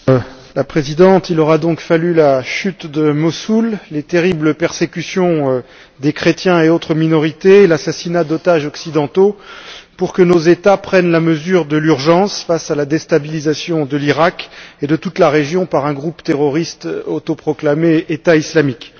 Madame la Présidente, il aura donc fallu la chute de Mossoul, les terribles persécutions des chrétiens et autres minorités, l'assassinat d'otages occidentaux pour que nos États prennent la mesure de l'urgence face à la déstabilisation de l'Iraq et de toute la région par un groupe terroriste autoproclamé État islamique.